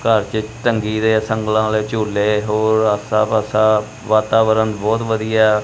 ਘੱਰ ਚ ਤੰਘੀਰੇ ਸੰਗਲਾਂ ਆਲ਼ੇ ਝੂਲੇ ਹੋਰ ਆਸਾ ਪਾਸਾ ਵਾਤਾਵਰਣ ਬੋਹਤ ਵਧੀਆ ਹੈ।